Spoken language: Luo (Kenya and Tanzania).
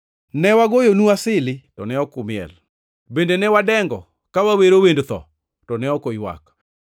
“Ne wagoyonu asili, to ne ok umiel; bende ne wadengo ka wawero wend tho, to ne ok uywak.